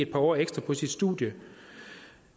par år ekstra på sit studie